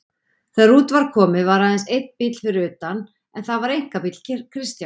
Þegar út var komið var aðeins einn bíll fyrir utan en það var einkabíll Kristjáns.